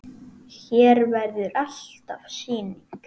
Hér verður alltaf sýning.